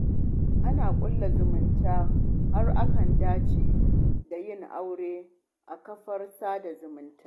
Ana ƙulla zumunta, har akan dace da yin aure, ta kafar sada zumunta.